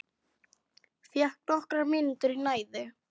Fékk nokkrar mínútur í næði.